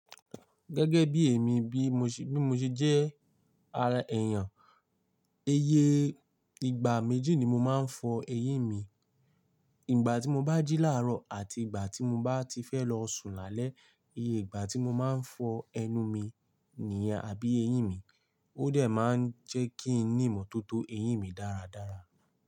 Gẹ́gẹ́ bí èmi bí mo ṣe, bí mo ṣe jẹ́ a- èèyàn, iyẹ ìgbà méjì ni mo máa ń fọ eyín mi. Ìgbà tí mo bá jí láàárọ̀ àti ìgbà tí mo bá ti fẹ́ lọ sùn lálẹ́. Iye ìgbà tí mo máa ń fọ ẹnu mi nìyẹn àbí eyín mi ó dẹ̀ máa ń jẹ́ kí n nímọ̀tótó eyín mi dáradára.